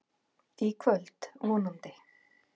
Í kvöld, vonandi.